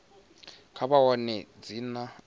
kha vha wane dzina a